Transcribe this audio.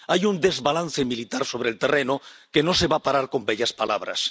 Hay un desbalance militar sobre el terreno, que no se va a parar con bellas palabras.